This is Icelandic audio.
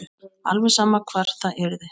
Alveg sama hvar það yrði.